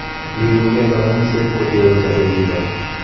Iwekuu kee kang'uiset kotee kosabe chito